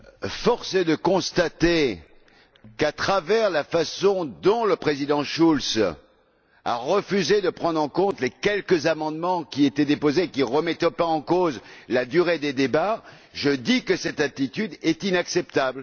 Force est de constater qu'à travers la façon dont le Président Schulz a refusé de prendre en compte les quelques amendements qui ont été déposés et qui ne remettaient pas en cause la durée des débats, j'affirme que cette attitude est inacceptable.